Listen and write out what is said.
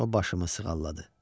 O başımı sığalladı.